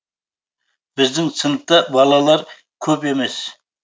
біздің сыныпта балалар көп емес